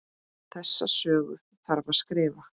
Þessa sögu þarf að skrifa.